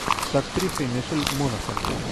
с актрисой мишель монахэн